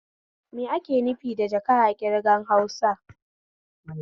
Me ake nufi da jaka a ƙirgan Hausa?